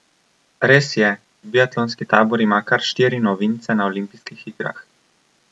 Res je, biatlonski tabor ima kar štiri novince na olimpijskih igrah.